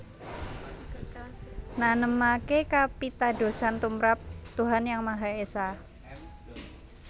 Nanemaké kapitadosan tumrap Tuhan Yang Maha Esa